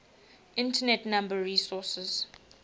internet number resources